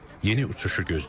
Yeni uçuşu gözləyirik.